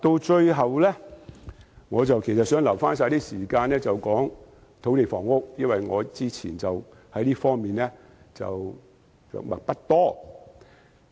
最後，我想預留一點時間談談土地房屋，因為我以前就這方面的着墨不多。